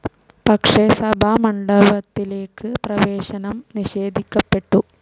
പക്ഷെ സഭാമണ്ഡപത്തിലേക്ക് പ്രവേശനം നിഷേധിക്കപ്പെട്ടു.